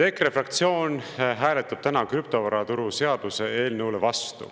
EKRE fraktsioon hääletab täna krüptovaraturu seaduse eelnõu vastu.